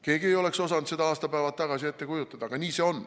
Keegi ei oleks osanud seda aastapäevad tagasi ette kujutada, aga nii see on.